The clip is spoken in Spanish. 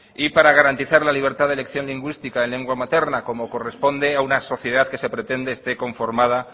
y para garantizar la libertad de elección lingüística en lengua materna como corresponde a una sociedad que se pretende esté conformada